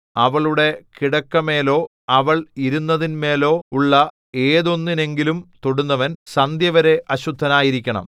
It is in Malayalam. അവളുടെ കിടക്കമേലോ അവൾ ഇരുന്നതിന്മേലോ ഉള്ള ഏതൊന്നെങ്കിലും തൊടുന്നവൻ സന്ധ്യവരെ അശുദ്ധനായിരിക്കണം